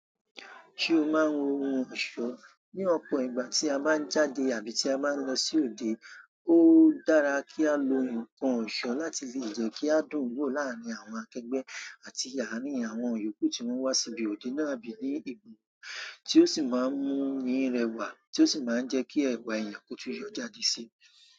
Ṣé o máa ń wo ohun ọ̀ṣọ́? Ni ọ̀pọ̀ ìgbà tí a báa ń jáde àbí tí a báa ń lọ sí òde, ó dára kí á lo nǹkan ọ̀ṣọ́ láti lè jẹ́ kí a dùn wò láàárín àwọn akẹgbẹ́ àti àrin àwọn iyokù tí wọ́n wá síbi òde náà bí i ní ibùdó tí ó sì máa ń mú ni rẹwà tí ó sì máa ń jẹ́ kí ẹwà èèyàn ko tun yọ jáde síi.